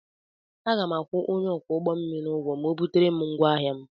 Aga m akwụ onye ọkwọ ụgbọ mmiri ụgwọ ma ọ butere m ngwaahịa m.